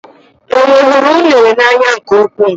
Enwe hụrụ unere n'anya nke ukwuu.